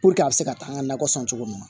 a bɛ se ka taa an ka nakɔ sɔn cogo min na